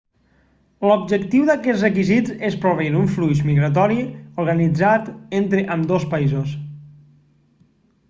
l'objectiu d'aquests requisits és proveir un flux migratori organitzat entre ambdós països